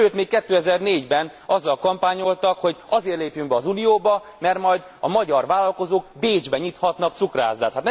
Sőt, még 2004 ben azzal kampányoltak, hogy azért lépjünk be az Unióba, mert majd a magyar vállalkozók Bécsben nyithatnak cukrászdát.